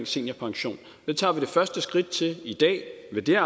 seniorpension det tager vi det første skridt til i dag med det